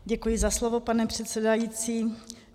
Děkuji za slovo, pane předsedající.